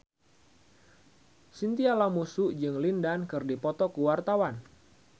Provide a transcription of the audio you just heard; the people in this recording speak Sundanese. Chintya Lamusu jeung Lin Dan keur dipoto ku wartawan